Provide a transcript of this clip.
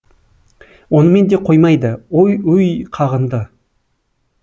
онымен де қоймайды ой өй қағынды